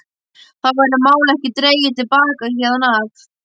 Þá verður málið ekki dregið til baka héðan af!